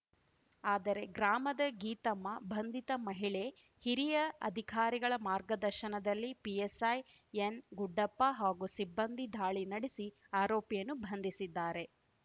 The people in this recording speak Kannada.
ಆದರೆ ಗ್ರಾಮದ ಗೀತಮ್ಮ ಬಂಧಿತ ಮಹಿಳೆ ಹಿರಿಯ ಅಧಿಕಾರಿಗಳ ಮಾರ್ಗದರ್ಶನದಲ್ಲಿ ಪಿಎಸ್‌ಐ ಎನ್‌ಗುಡ್ಡಪ್ಪ ಹಾಗೂ ಸಿಬ್ಬಂದಿ ದಾಳಿ ನಡೆಸಿ ಆರೋಪಿಯನ್ನು ಬಂಧಿಸಿದ್ದಾರೆ